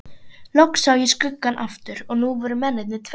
Loks sá ég skuggann aftur og nú voru mennirnir tveir.